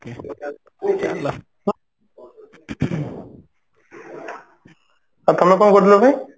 ଆଉ ତମେ କଣ କରୁଥିଲ କି